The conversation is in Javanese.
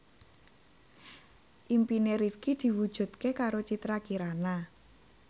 impine Rifqi diwujudke karo Citra Kirana